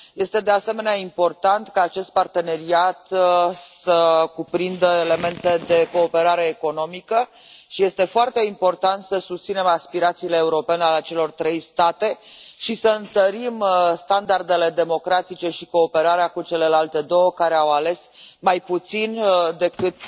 Este, de asemenea, important ca acest parteneriat să cuprindă elemente de cooperare economică și este foarte important să susținem aspirațiile europene ale celor trei state și să întărim standardele democratice și cooperarea cu celelalte două care au ales mai puțin decât